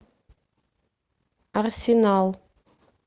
арсенал